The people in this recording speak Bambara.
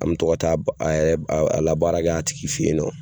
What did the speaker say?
An mɛ to ka taa a yɛ a a labaarakɛ a tigi fɛ ye nɔ.